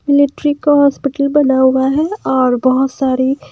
military का hospital बना हुआ है और बहुत सारी --